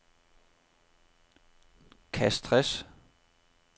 Castres